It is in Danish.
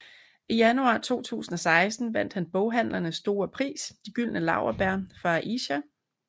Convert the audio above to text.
I januar 2016 vandt han boghandlernes store pris De gyldne laurbær for Aisha